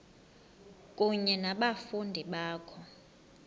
kunye nabafundi bakho